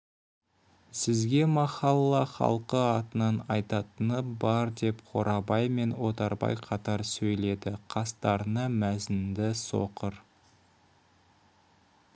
сізге махалла халқы атынан айтатыны бар деп қорабай мен отарбай қатар сөйледі қастарына мәзінді соқыр